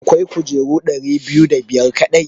Akwai kujeru ɗari biyu da biyar kaɗai.